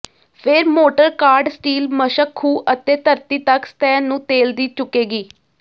ਫਿਰ ਮੋਟਰ ਕਾਢ ਸਟੀਲ ਮਸ਼ਕ ਖੂਹ ਅਤੇ ਧਰਤੀ ਤੱਕ ਸਤਹ ਨੂੰ ਤੇਲ ਦੀ ਚੁੱਕੇਗੀ